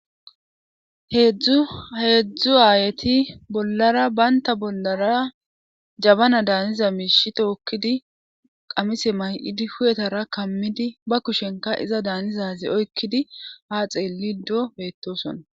heedzdzu aayeti bollara baynta bollara jabana daaniza miishi tookkidi qamise may7idi huyetara kammidi ba kushenka iza daanizaze oykkidi haa xeelido beettosona